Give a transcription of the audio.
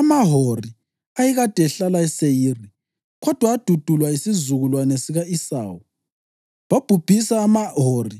AmaHori ayekade ehlala eSeyiri, kodwa adudulwa yisizukulwane sika-Esawu. Babhubhisa amaHori